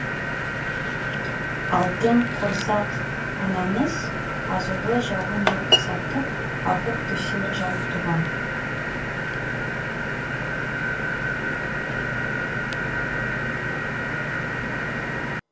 алтын құрсақ анаңыз азулы жауын жамсатып ағып түсер жай туған